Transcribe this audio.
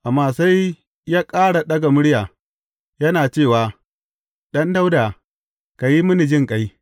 Amma sai ya ƙara ɗaga murya, yana cewa, Ɗan Dawuda, ka yi mini jinƙai!